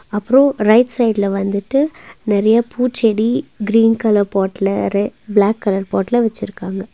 அப்றோ ரைட் சைடுல வந்துட்டு நெறையா பூச்செடி கிரீன் கலர் பாட்ல ரே பிளாக் கலர் பாட்ல வெச்சிருக்காங்க.